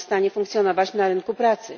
funkcjonować na rynku pracy.